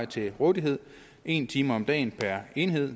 til rådighed en time om dagen per enhed